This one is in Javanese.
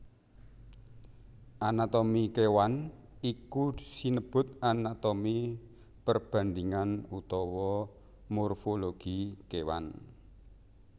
Anatomi kéwan iku sinebut anatomi perbandhingan utawa morfologi kéwan